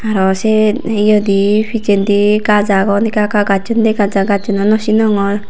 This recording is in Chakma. Aro se eyedi picchendi gach agon ekka ekka gacchin dega jaai gacchun ow no sinongor.